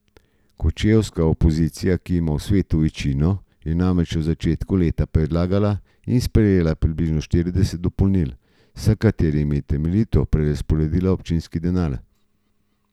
Kočevska opozicija, ki ima v svetu večino, je namreč v začetku leta predlagala in sprejela približno štirideset dopolnil, s katerimi je temeljito prerazporedila občinski denar.